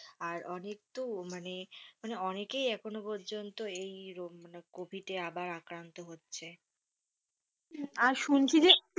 আর অনেক তো মানে অনেকে এখন পর্যন্ত এই কোভিড এ আবার আক্রান্ত হচ্ছে। আর শুনছি যে,